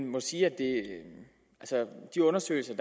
må sige at de undersøgelser